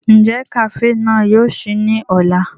Njẹ kafee náà yóò ṣii ni ọla?